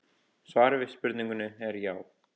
Svarið við spurningunni er já.